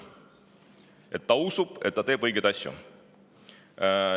Tema nimelt usub, et ta teeb õigeid asju.